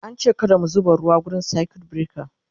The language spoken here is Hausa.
an ce kada mu zuba ruwa wurin circuit breaker